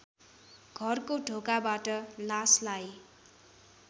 घरको ढोकाबाट लासलाई